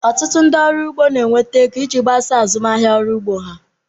Ọtụtụ ndị ọrụ ugbo na-enweta ego iji gbasaa azụmahịa ọrụ ugbo ha